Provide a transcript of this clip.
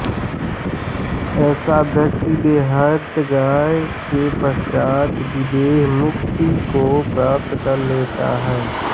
ऐसा व्यक्ति देहत्याग के पश्चात् विदेहमुक्ति को प्राप्त कर लेता है